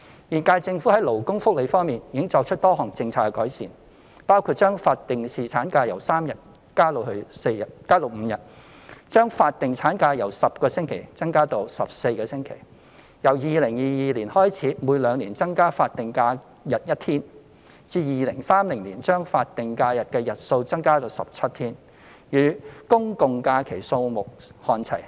現屆政府在勞工福利方面已作出多項政策改善，包括將法定侍產假由3日增加至5日；將法定產假由10星期增加至14星期；由2022年開始每兩年增加法定假日一天，至2030年將法定假日的日數增加至17天，與公眾假期數目看齊。